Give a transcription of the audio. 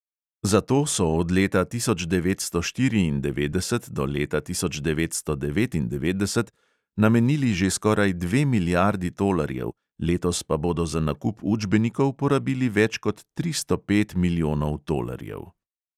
Za to so od leta tisoč devetsto štiriindevetdeset do leta tisoč devetsto devetindevetdeset namenili že skoraj dve milijardi tolarjev, letos pa bodo za nakup učbenikov porabili več kot tristo pet milijonov tolarjev.